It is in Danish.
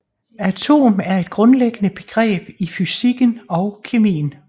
Atom er et grundlæggende begreb i fysikken og kemien